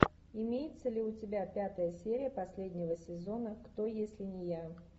имеется ли у тебя пятая серия последнего сезона кто если не я